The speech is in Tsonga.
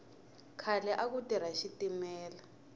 khale aku tirha xitimela